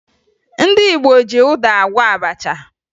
Ndị Igbo ji ụda agwọ abacha